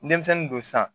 Denmisɛnnin don sisan